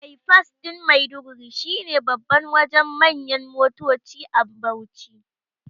baifas ɗin Maiduguri shine babban Wajen manyan motoci a Bauchi